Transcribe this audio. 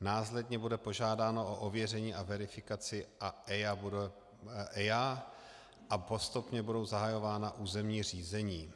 následně bude požádáno o ověření a verifikaci a EIA a postupně budou zahajována územní řízení.